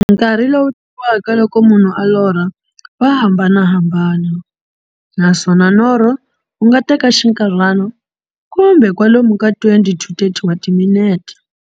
Nkarhi lowu tekiwaka loko munhu a lorha, wa hambanahambana, naswona norho wu nga teka xinkarhana, kumbe kwalomu ka 20 to 30 wa timinete.